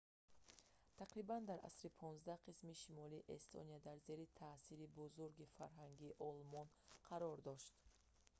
тақрибан дар асри 15 қисми шимолии эстония зери таъсири бузурги фарҳанги олмон қарор дошт